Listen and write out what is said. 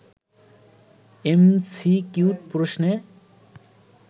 MCQ প্রশ্নে